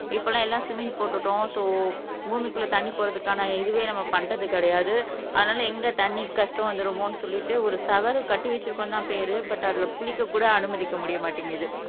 இப்பலாம் எல்லாம் ஸ்விம்மிங் போட்டுட்டோம் சோ பூமிக்குள்ள தண்ணி போறதுக்கான இதுவே நம்ம பண்றது கிடையாது அதனால எங்க தண்ணி கஷ்டம் வந்துருமோன்னு சொல்லிட்டு ஒரு ஷவர கட்டி வச்சிருக்கோம்னு என்று தான் பேர் பட் அதுல குளிக்க கூட அனுமதிக்க முடிய மாட்டேங்குது